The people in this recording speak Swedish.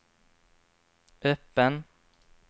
öppen